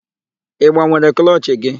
Ị gbanwere klọchị gị?